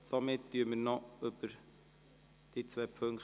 Somit diskutieren wir noch über diese beiden Punkte.